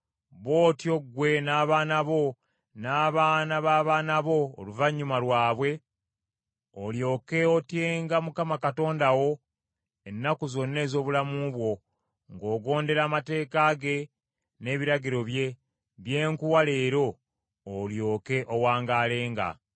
Bw’otyo ggwe n’abaana bo, n’abaana b’abaana bo oluvannyuma lwabwe, olyoke otyenga Mukama Katonda wo ennaku zonna ez’obulamu bwo, ng’ogondera amateeka ge n’ebiragiro bye, bye nkuwa leero; olyoke owangaalenga.